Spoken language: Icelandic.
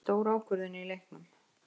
Þetta er stór ákvörðun í leiknum.